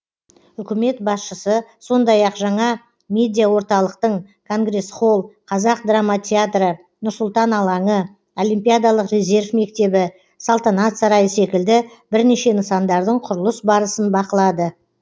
үкімет басшысы сондай ақ жаңа медиаорталықтың конгресс холл қазақ драма театры нұр сұлтан алаңы олимпиадалық резерв мектебі салтанат сарайы секілді бірнеше нысандардың құрылыс барысын бақылады